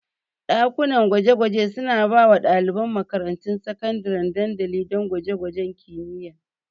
Dakunan gwaje-gwaje suna ba wa ɗaliban makarantun sakandare dandali don gwaje-gwajen kimiyya.